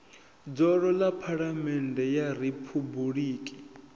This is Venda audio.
dzulo ḽa phaḽamennde ya riphabuliki